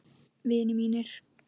Vinir mínir.